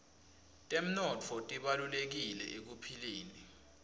temnotfo tibalulekile ekuphileni